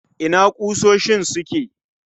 Ina ƙusoshin suke?